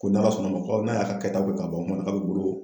Ko n'ala sɔnnama ko n'a y'a ka kɛ taw kɛ ka ban ko n ma dɔn ka bɛ bolo.